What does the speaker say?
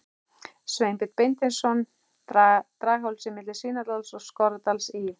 Sveinbjörns Beinteinssonar, Draghálsi milli Svínadals og Skorradals í